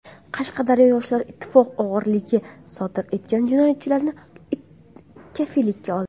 Qashqadaryoda Yoshlar ittifoqi o‘g‘rilik sodir etgan jinoyatchini kafillikka oldi.